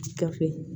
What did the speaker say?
Gafe